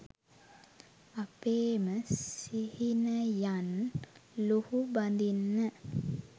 අපේම සිහිනයන් ලුහුබඳින්න